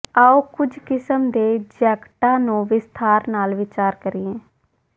ਆਉ ਕੁਝ ਕਿਸਮ ਦੇ ਜੈਕਟਾਂ ਨੂੰ ਵਿਸਥਾਰ ਨਾਲ ਵਿਚਾਰ ਕਰੀਏ